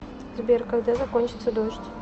сбер когда закончится дождь